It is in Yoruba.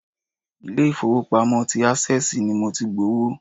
Ilé-ifowopamo ti access ni mo ti gbowó.